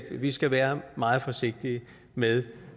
vi skal være meget forsigtige med